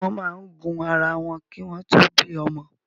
Wọn máa ń gun ara wọn ki wọn to bí ọmọ